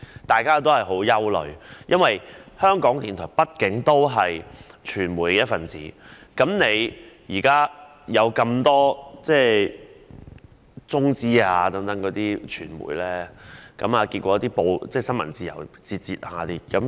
大家也感到十分憂慮，因為港台畢竟是傳媒的一分子，而現在許多中資傳媒的出現令新聞自由節節倒退。